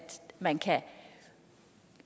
man kan